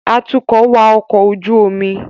Atukọ̀ wa ọkọ̀ ojú omi